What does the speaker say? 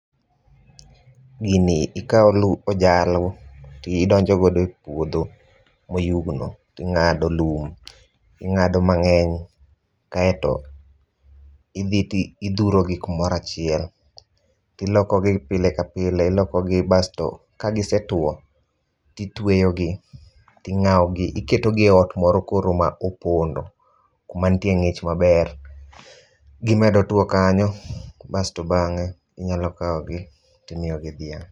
Gini ikaw ojalo tidonjo godo e puodho ma oyugno tingado lum ,ingado mangeny kaito idhi to idhuro gi kumoro achiel. Tiloko gi pile ka pile, iloko gi basto ka gisetuo titweyo gi tingaw gi, iketo gi e ot moro mopondo kuma nitie ngich maber, gimedo tuo kanyo kasto bange inyalo kawgi timiyogi dhiang